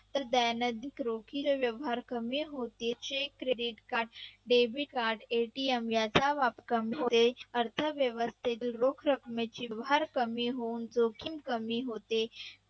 इतर bank अधिक रोखीचे व्यवहार कमी होतील credit card debit card ATM याचा वापर कमी होते अर्थव्यवस्थेतील रोख रकमेचा भार कमी होऊन जोखीम कमी होते.